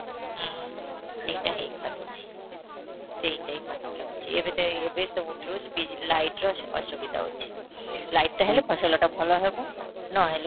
ହୁଁ ଏଇଟା ହେଇ ପାରୁ ନାହିଁ, ସେଇଟା ହିଁ କଷ୍ଟ ହେଉଛି, ଏବେ ତ ଏଇ ଏବେ ସବୁ ବି light ର ଅ ଅସୁବିଧା ହଉଛି, light ଟା ହେଲେ ଫସଲଟା ଭଲ ହେବ ନ ହେଲେ